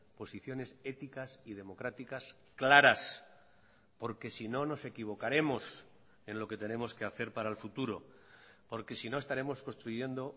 posiciones éticas y democráticas claras porque si no nos equivocaremos en lo que tenemos que hacer para el futuro porque sino estaremos construyendo